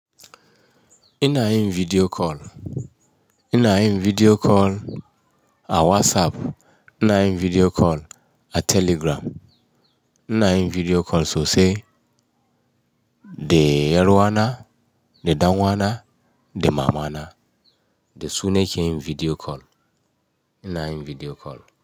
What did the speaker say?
Ina yin video call, ina yin video call a WhatsApp, ina yin video call a Telegram, ina yin video call sosai. Da yar'uwana, da danuwana, da mamana, da su nake yin video call. Ina yin video call.